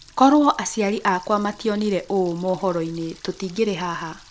Korũo aciari akwa mationire ũũ mohoro-inĩ tũtingĩrĩ haha